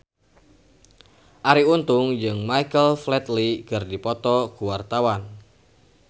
Arie Untung jeung Michael Flatley keur dipoto ku wartawan